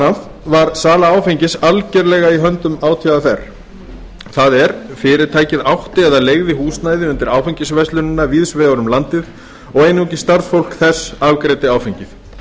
af var sala áfengis algerlega í höndum átvr það er fyrirtækið átti eða leigði húsnæði undir áfengisverslunina víðs vegar um landið og einungis starfsfólk þess afgreiddi áfengið